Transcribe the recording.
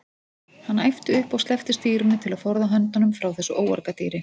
Hann æpti upp og sleppti stýrinu til að forða höndunum frá þessu óargadýri.